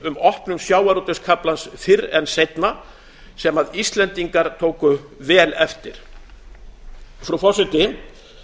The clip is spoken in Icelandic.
um opnun sjávarútvegskaflans fyrr en seinna sem íslendingar tóku vel eftir frú forseti